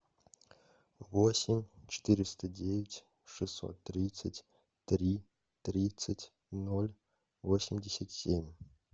восемь четыреста девять шестьсот тридцать три тридцать ноль восемьдесят семь